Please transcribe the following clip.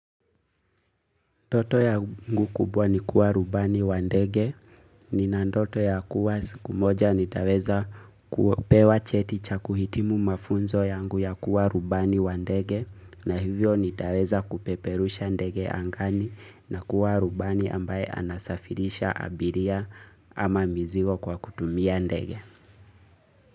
Ndoto yangu kubwa ni kuwa rubani wa ndege, nina ndoto ya kuwa siku moja nitaweza kupewa cheti cha kuhitimu mafunzo yangu ya kuwa rubani wa ndege, na hivyo nitaweza kupeperusha ndege angani na kuwa rubani ambaye anasafirisha abiria. Ama mizigo kwa kutumia ndege.